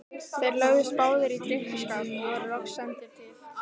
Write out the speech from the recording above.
Þeir lögðust báðir í drykkjuskap og voru loks sendir til